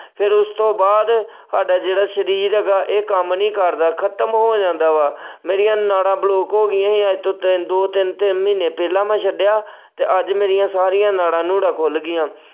ਫਿਰ ਉਸਤੋਂ ਬਾਅਦ ਸਾਡਾ ਜਿਹੜਾ ਸਰੀਰ ਹੈਗਾ ਇਹ ਕੰਮ ਨਹੀਂ ਕਰਦਾ ਖ਼ਤਮ ਹੋ ਜਾਂਦਾ ਵਾ, ਮੇਰੀਆ ਨਾੜਾ block ਹੋ ਗਈਆਂ ਸੀ ਅੱਜ ਤੋਂ ਤਿੰਨ ਦੋ ਤਿੰਨ, ਤਿੰਨ ਮਹੀਨੇ ਪਹਿਲਾਂ ਮੈਂ ਛੱਡਿਆ ਤੇ ਅੱਜ ਮੇਰੀਆਂ ਸਾਰੀਆਂ ਨਾੜਾਂ ਨੂੜਾਂ ਖੁੱਲ ਗਈਆਂ।